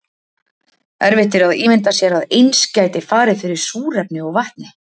Erfitt er að ímynda sér að eins gæti farið fyrir súrefni og vatni.